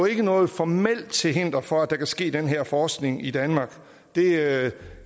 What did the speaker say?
ikke noget formelt til hinder for at der kan ske den her forskning i danmark det